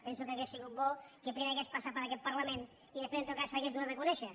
penso que hauria sigut bo que primer hagués passat per aquest parlament i després en tot cas s’hagués donat a conèixer